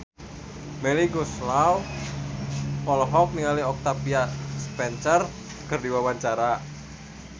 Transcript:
Melly Goeslaw olohok ningali Octavia Spencer keur diwawancara